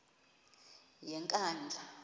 yenkandla